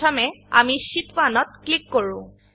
প্ৰথমে আমি শীট 1 ত ক্লিক কৰো